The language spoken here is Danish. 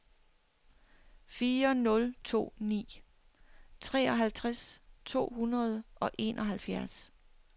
fire nul to ni treoghalvtreds to hundrede og enoghalvfjerds